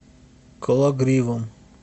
кологривом